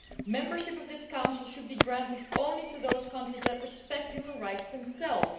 Membership of this Council should be granted only to those countries that respect human rights themselves.